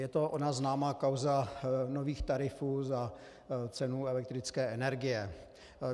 Je to ona známá kauza nových tarifů za cenu elektrické energie.